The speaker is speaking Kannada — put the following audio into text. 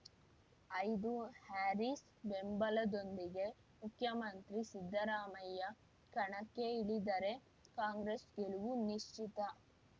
ಐದು ಹ್ಯಾರೀಸ್‌ ಬೆಂಬಲದೊಂದಿಗೆ ಮುಖ್ಯಮಂತ್ರಿ ಸಿದ್ದರಾಮಯ್ಯ ಕಣಕ್ಕೆ ಇಳಿದರೆ ಕಾಂಗ್ರೆಸ್‌ ಗೆಲುವು ನಿಶ್ಚಿತ